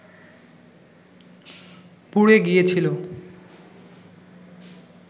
পুড়ে গিয়েছিল